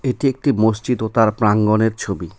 এটি একটি মসজিদ ও তার প্রাঙ্গণের ছবি.